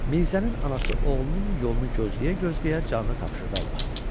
Mirzənin anası oğlunun yolunu gözləyə-gözləyə canı tapşırdı Allaha.